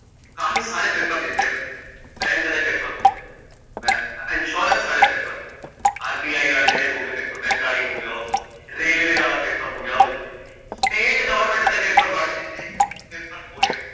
ਕਾਫੀ ਸਾਰੇ paper ਦਿਤੇ ਮੈਂ ਬੈਂਕ ਦੇ paper ਹੋ ਗੇ ਮੈਂ insurance ਆਲੇ paperਹੋਂਗੇ RBI ਜਿਹੜੇ ਹੋਗੇ paper ਬੈਂਕ ਆਲੇ ਹੀ ਹੋਗੇ railways ਆਲਾ paper ਹੋ ਗਿਆ ਊ ਦਿਤੇ state government ਦੇ paper ਬਾਲੇ ਦਿੱਤੇ